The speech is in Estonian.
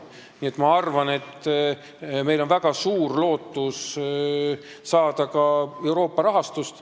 Nii et ma arvan, et meil on väga suur lootus saada ka Euroopa rahastust.